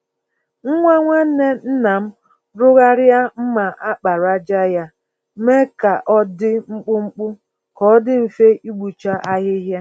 Nwa nwanne nna m rụgharịa mma àkpàràjà ya, mee ya k'ọdi mkpụmkpụ, k'ọdi mfe ịkpụcha ahịhịa.